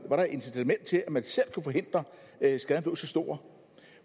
var der et incitament til at man selv kunne forhindre at skaden blev så stor